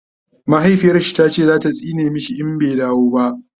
mahaifiyarshi tace zata tsine mashi idan bai dawo ba